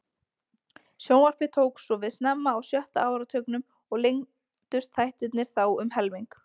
Sjónvarpið tók svo við snemma á sjötta áratugnum og lengdust þættirnir þá um helming.